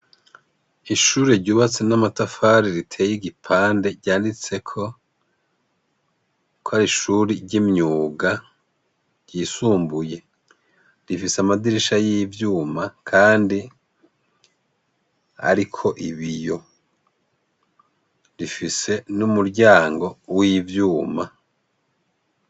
Ishure ryubatse n'amatafari riteye igipande ryanditseko kw’ar’ishuri ry'imyuga ryisumbuye rifise amadirisha y'ivyuma kandi ariko ibiyo rifise n'umuryango w'ibyuma.